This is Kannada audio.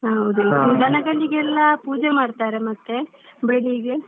ಹೌದಾ ದನಗಳಿಗೆಲ್ಲ ಪೂಜೆ ಮಾಡ್ತಾರೆ ಮತ್ತೆ ಬೆಳಿಗ್ಗೆ.